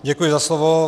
Děkuji za slovo.